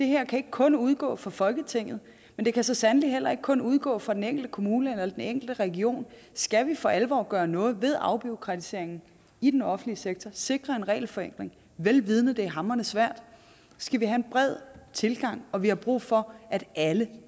her kan ikke kun udgå fra folketinget men det kan så sandelig heller ikke kun udgå fra den enkelte kommune eller den enkelte region skal vi for alvor gøre noget ved afbureaukratiseringen i den offentlige sektor og sikre en regelforenkling vel vidende at det er hamrende svært skal vi have en bred tilgang og vi har brug for at alle